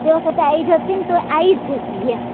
એ વખતે આઈ જતી ને તો આવી જતી એમ